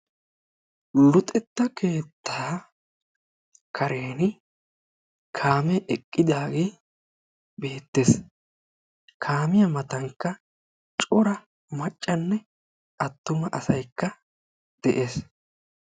Luxetta keettaa kareni kaame eqqidaage beettees; kaamiyaa matankka cora maccanne attuma asaykka de'ees